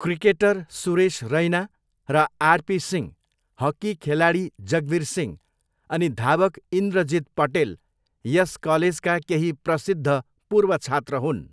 Cricketer Suresh Raina र RP Singh, hockey खेलाडी जगवीर सिंह अनि धावक इन्द्रजित पटेल यस कलेजका केही प्रसिद्ध पूर्व छात्र हुन्।